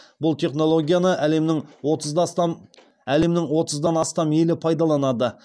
бұл технологияны әлемнің отыздан астам елі пайдаланады